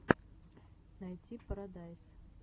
найти парадайз